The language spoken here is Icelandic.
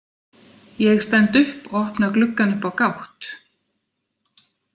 Ég stend upp og opna gluggann upp á gátt.